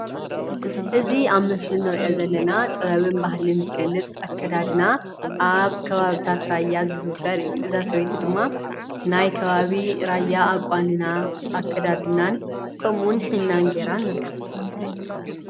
እዚ ኣብ ምስሊ እንሪኦ ዘለና ጥበብን ባህልን ዝገልፅ ኣከዳድና ኣብ ከባቢታት ራያን ዝዝውተር እዩ:: እዛ ሰበይቲ ድማ ናይ ከባቢ ራያን አቋንናን ኣከዳድናን ከምኡውን ሒና ጌራ ንሪኣ፡፡